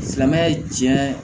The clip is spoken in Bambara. Silamɛya diinɛ